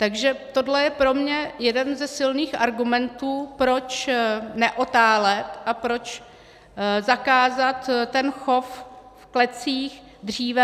Takže tohle je pro mě jeden ze silných argumentů, proč neotálet a proč zakázat ten chov v klecích dříve.